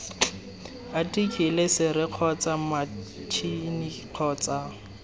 athikele sere kgotsa matšhini kgotsa